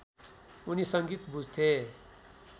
उनी सङ्गीत बुझ्थे